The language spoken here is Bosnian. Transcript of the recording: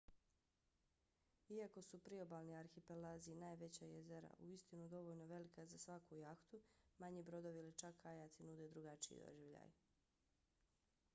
iako su priobalni arhipelazi i najveća jezera uistinu dovoljno velika za svaku jahtu manji brodovi ili čak kajaci nude drugačiji doživljaj